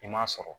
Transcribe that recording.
I ma sɔrɔ